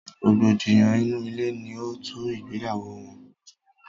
rògbòdìyàn inú ilé ni ó tú ìgbéyàwó wọn.